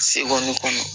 Segoni kɔnɔ